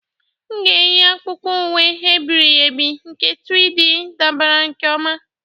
M ga-eyi akpụkpọ ụkwụ e biri ebi nke 3D dabara nke ọma.